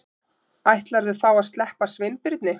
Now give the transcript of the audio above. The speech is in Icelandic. Ætlarðu þá að sleppa Sveinbirni?